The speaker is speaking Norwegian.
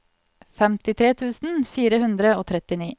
femtitre tusen fire hundre og trettini